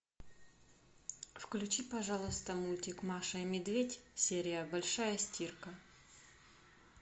включи пожалуйста мультик маша и медведь серия большая стирка